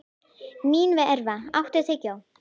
Mínerva, áttu tyggjó?